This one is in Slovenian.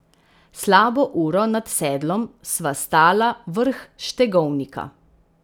Slabo uro nad sedlom sva stala vrh Štegovnika.